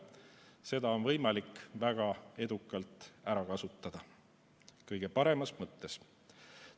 Seda on võimalik väga edukalt ära kasutada kõige paremas mõttes.